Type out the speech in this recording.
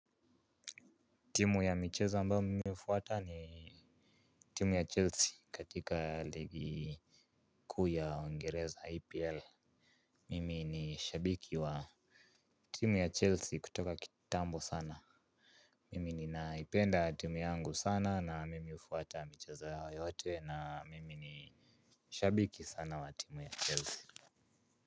Timu ya michezo ambayo mimi hufuata ni timu ya Chelsea katika ligi kuu ya Ungereza EPL. Mimi ni shabiki wa timu ya Chelsea kutoka kitambo sana. Mimi ninaipenda timu yangu sana na mimi hufuata michezo yao yote na mimi ni shabiki sana wa timu ya Chelsea.